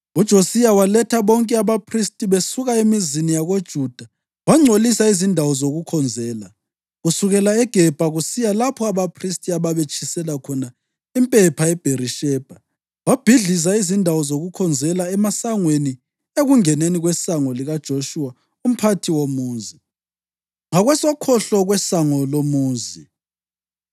UJosiya waletha bonke abaphristi besuka emizini yakoJuda, wangcolisa izindawo zokukhonzela, kusukela eGebha kusiya lapho abaphristi ababetshisela khona impepha eBherishebha. Wabhidliza izindawo zokukhonzela emasangweni ekungeneni kwesango likaJoshuwa umphathi womuzi, ngakwesokhohlo kwesango lomuzi.